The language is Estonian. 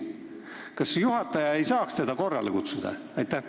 Kas juhataja ei saaks teda korrale kutsuda?